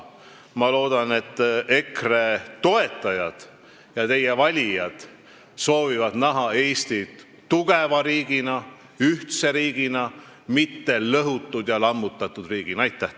Ma loodan, et EKRE toetajad ja teie valijad soovivad näha Eestit tugeva riigina, ühtse riigina, mitte lõhutud ja lammutatud riigina.